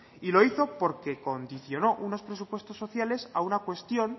y lo hizo porque condicionó unos presupuestos sociales a una cuestión